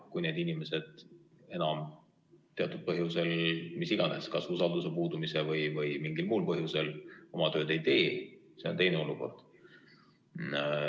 Kui need inimesed enam teatud põhjusel, mis iganes, kas usalduse puudumise tõttu või mingil muul põhjusel, oma tööd ei tee, siis see on teine olukord.